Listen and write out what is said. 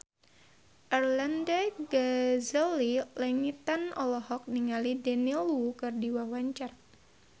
Arlanda Ghazali Langitan olohok ningali Daniel Wu keur diwawancara